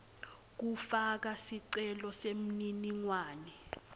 kufaka sicelo semininingwane